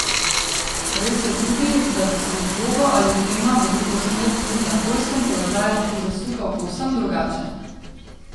Res je tudi, da bi se z žogo ali dvema v drugo smer tudi na Poljskem položaj lahko zasukal povsem drugače.